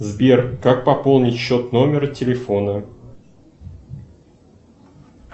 сбер как пополнить счет номера телефона